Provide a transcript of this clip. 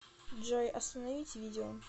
джой остановить видео